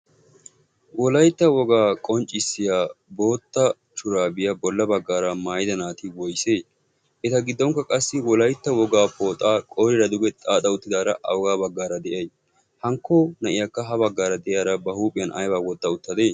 wolaytta wogaa qonccissiya bootta shuraabiyaa bolla baggaara maayida naati woysee? eta giddonkka qassi wolaytta wogaa pooxaa qorira duge xaaxa uttidaara a wogaa baggaara de'iya hankko na'iyaakka ha baggaara de'iaara ba huuphiyan aybaa wotta uttade?